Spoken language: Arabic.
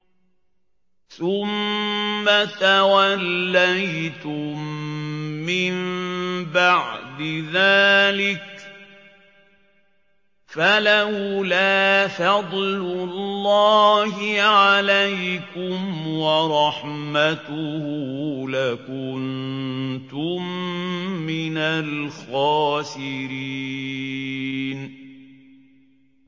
ثُمَّ تَوَلَّيْتُم مِّن بَعْدِ ذَٰلِكَ ۖ فَلَوْلَا فَضْلُ اللَّهِ عَلَيْكُمْ وَرَحْمَتُهُ لَكُنتُم مِّنَ الْخَاسِرِينَ